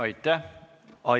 Aitäh!